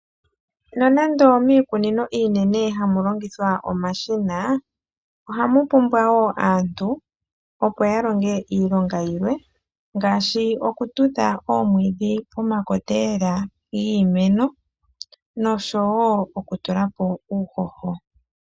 Nonando miikununo iinene hamu longithwa omashina, ohamu pumbwa wo aantu opo ya longe iilonga yilwe. Iilonga yilwe ongaashi okutudha oomwiidhi pomakota giimeno nokutulapo uuhoho.